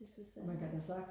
det synes jeg